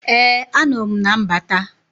Ee anọ m na mbata